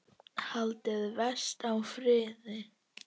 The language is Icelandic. Haldið vestur á Firði